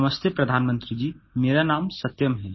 नमस्ते प्रधानमंत्री जी मेरा नाम सत्यम है